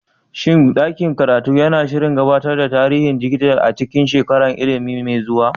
Shin ɗakin karatu yana shirin gabatar da tarihin dijital a cikin shekarar ilimi mai zuwa?